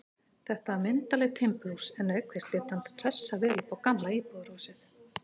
Þetta var myndarlegt timburhús, en auk þess lét hann hressa vel upp á gamla íbúðarhúsið.